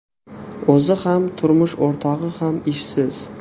O‘zi ham, turmush o‘rtog‘i ham ishsiz.